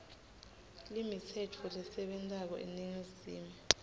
limitsetfo lesebentako emazinga